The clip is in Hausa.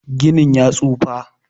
Ginin ya tsufa.